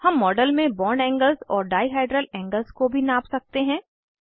हम मॉडल में bond angles और डाइहाइड्रल एंगल्स को भी नाप सकते हैं